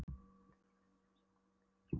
Allir voru fegnir að sjá hvað við blómstruðum.